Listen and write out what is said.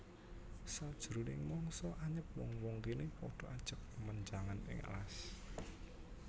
Sajroning mangsa anyep wong wong kéné padha ajag menjangan ing alas